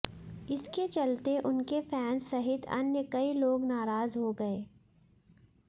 इसके चलते उनके फैंस सहित अन्य कई लोग नाराज हो गए